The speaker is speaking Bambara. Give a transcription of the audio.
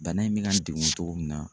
Bana in bɛ ka n degun togo min na.